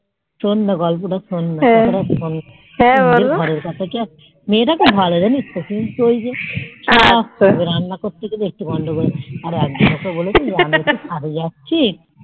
শোননা গল্পটা শোননা মেয়েটা খুব ভালো জানিস তো কিন্তু ঐযে রান্না করতে গেলে একটু গন্ডগোল আর একদিন ওকে আমি বলেছি আমি ছাদ এ যাচ্ছি